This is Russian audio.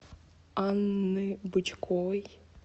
анны бычковой